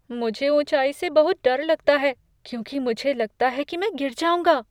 मुझे ऊँचाई से बहुत डर लगता है क्योंकि मुझे लगता है कि मैं गिर जाऊँगा।